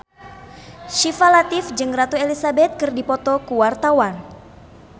Syifa Latief jeung Ratu Elizabeth keur dipoto ku wartawan